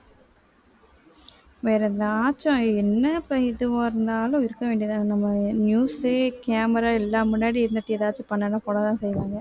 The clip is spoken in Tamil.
வேற எதாச்சும் என்ன இப்ப எதுவா இருந்தாலும் இருக்க வேண்டியதுதானே நம்ம news உ camera எல்லாம் முன்னாடி இருந்துட்டு எதாச்சும் பண்ணுனா போடதான் செய்வாங்க